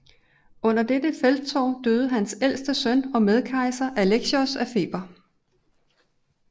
Under dettte felttog døde hans ældste søn og medkejser Alexios af feber